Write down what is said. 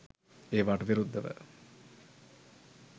ඒවාට විරුද්ධව